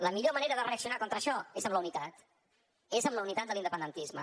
la millor manera de reaccionar contra això és amb la unitat és amb la unitat de l’independentisme